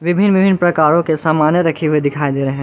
विभिन्न विभिन्न प्रकारों के समाने रखे हुए दिखाई दे रहे हैं।